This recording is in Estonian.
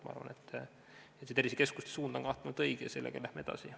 Ma arvan, et tervisekeskuste suund on kahtlemata õige ja sellega läheme edasi.